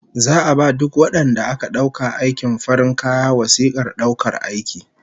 Za'a ba duk wadanda aka dauka aikin farin kaya wasikar daukar aiki